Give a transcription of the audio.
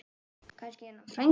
Kannski er hann frændi þinn.